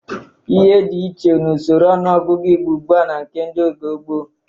Ihe dị iche n'usoro ọnụọgụgụ Igbo ugbu a na nke oge gboo.